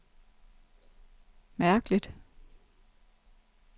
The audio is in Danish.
mærkeligt